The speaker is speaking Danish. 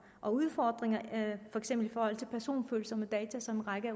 og udfordringer for eksempel i forhold til personfølsomme data som en række af